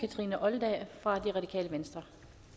kathrine olldag fra radikale venstre